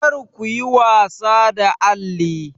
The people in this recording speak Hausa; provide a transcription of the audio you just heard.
Kar kuyi wasa da alli!